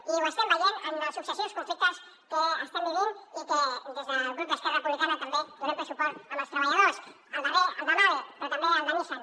i ho estem veient en els successius conflictes que estem vivint i en què des del grup d’esquerra republicana també donem ple suport als treballadors el darrer el de mahle però també el de nissan